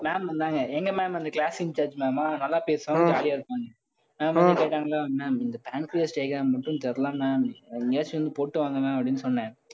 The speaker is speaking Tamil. ma'am வந்தாங்க. எங்க ma'am வந்து class incharge ma'am ஆ நல்லா பேசுவாங்க, jolly ஆ இருக்கும். ma'am வந்து போய்ட்டாங்களா ma'am இந்த pancreas diagram மட்டும் தெரியலை ma'am அஹ் எங்கேயாச்சும் போட்டு வாங்க ma'am அப்படின்னு சொன்னேன்